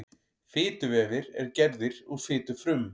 fituvefir eru gerðir úr fitufrumum